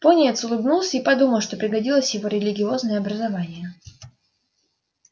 пониетс улыбнулся и подумал что пригодилось его религиозное образование